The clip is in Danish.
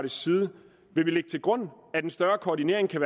side lægge til grund at en større koordinering kan